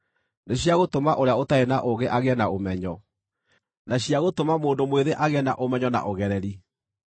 nĩ cia gũtũma ũrĩa ũtarĩ na ũũgĩ agĩe na ũmenyo, na cia gũtũma mũndũ mwĩthĩ agĩe na ũmenyo na ũgereri: